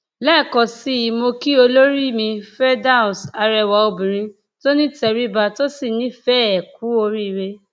lẹẹkan sí i mọ kí olórí mi firdaus arẹwà obìnrin tó nítẹríba tó sì nífẹẹ ku oríire